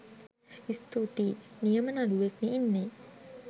ස්තූතියි‍.නියම නලුවෙක් නේ ඉන්නේ